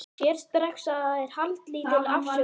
Sér strax að það er haldlítil afsökun.